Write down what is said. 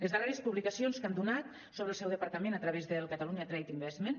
les darreres publicacions que han donat sobre el seu departament a través del catalunya trade investment